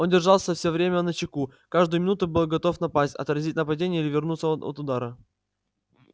он держался всё время начеку каждую минуту был готов напасть отразить нападение или увернуться от от удара